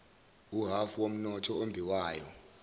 uhhafu womnotho ombiwayo